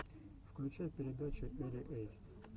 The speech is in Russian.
включай передачи эли эй